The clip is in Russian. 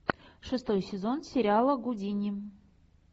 шестой сезон сериала гудини